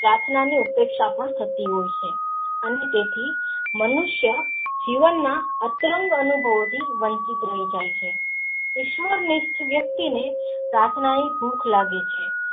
પ્રાર્થનાનું ઉત્તપ્ર્ક્ષ પણ થતી હોય છે અને તેથી મનુષ્યો જીવન માં અતરંગ અનુભવો થી વનજીત રહી જાય છે ઈશ્વર નિષ્ઠ વ્યકિતઓને પ્રાર્થના ની ભૂખ લાગે છે.